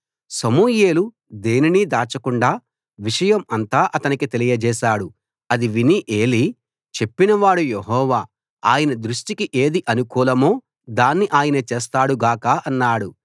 సమూయేలు దేనినీ దాచకుండా విషయం అంతా అతనికి తెలియజేశాడు అది విని ఏలీ చెప్పినవాడు యెహోవా ఆయన దృష్ఠికి ఏది అనుకూలమో దాన్ని ఆయన చేస్తాడు గాక అన్నాడు